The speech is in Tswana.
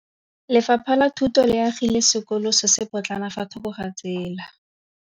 Lefapha la Thuto le agile sekôlô se se pôtlana fa thoko ga tsela.